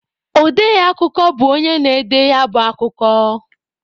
Ọde akụkọ bụ onye na-ede ya bụ akụkọ